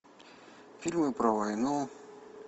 фильмы про войну